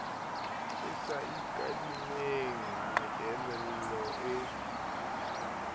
e sa ikadimeng meelelo e